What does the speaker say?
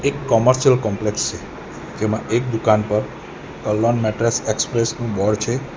Commercial complex છે જેમાં એક દુકાન પર કર્લોન મેટ્રેસ એક્સપ્રેસ નું બોર્ડ છે.